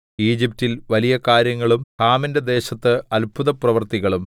ഈജിപ്റ്റിൽ വലിയ കാര്യങ്ങളും ഹാമിന്റെ ദേശത്ത് അത്ഭുതപ്രവൃത്തികളും